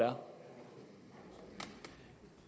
om